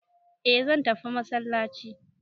eh zan tafi masallaci